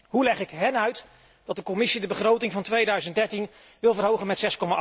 Hoe leg ik hun uit dat de Commissie de begroting van 2013 wil verhogen met